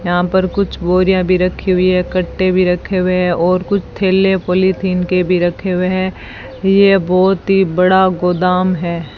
यहां पर कुछ बोरियां भी रखी हुई है कट्टे भी रखे हुए हैं और कुछ थैले पॉलिथीन के भी रखे हुए हैं यह बहुत ही बड़ा गोदाम है।